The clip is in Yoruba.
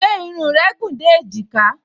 Ṣé irun rẹ gùn dé èjìká?